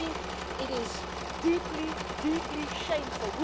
I think it is deeply, deeply shameful.